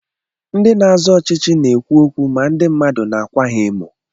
Ndị na-azọ ọchịchị na-èkwu ókwú mà ndị mmadụ na-ákwà ha émò